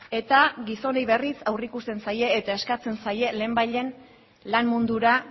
eta gizonei berriz aurreikusten zaie eta eskatzen zaie lehenbailehen lan mundura